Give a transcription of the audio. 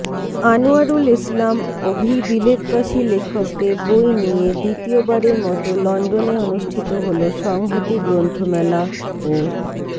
আনোয়ারুল ইসলাম অভি বিলেতবাসী লেখকদের বই নিয়ে দ্বিতীয়বারের মতো লন্ডনে অনুষ্ঠিত হলো সংহতি গ্রন্থমেলা ও